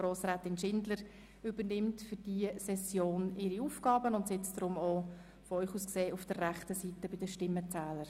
Grossrätin Meret Schindler übernimmt für diese Session ihre Aufgaben und sitzt deswegen auch hier vorne, aus Ihrer Sicht auf der rechten Seite bei den Stimmenzählern.